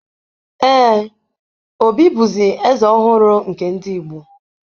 Ee, Obi bụzi Eze ọhụrụ nke ndị Igbo.